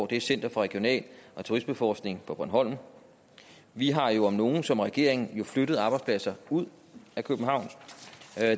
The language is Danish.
er center for regional og turismeforskning på bornholm vi har jo om nogen som regering flyttet arbejdspladser ud af københavn